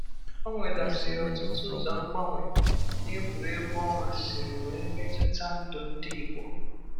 O nwegasịrị ọtụtụ ụzọ mgbanwe n’egwuregwu ọnwa siri wee metụta ndụ ndị Igbo.